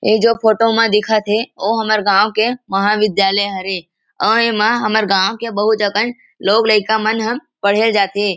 इ जो फोटो में दिखत हे वो हमार गाँव के महाविद्यायल हरे अऊ ए मा हमार गाँव के बहुत अकन लोग लइका मन हम पढ़े जाथे ।